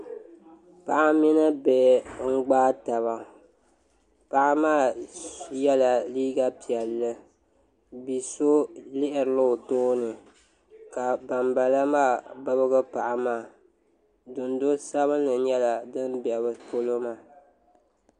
Paɣa mini bihi n gbaai taba paɣa maa yɛla liiga piɛlli bia so lihirila o tooni ka banbala maa bibgi paɣa maa dundo sabinli nyɛla din bɛ bi polo maa